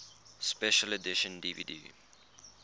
special edition dvd